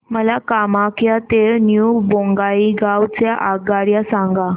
मला कामाख्या ते न्यू बोंगाईगाव च्या आगगाड्या सांगा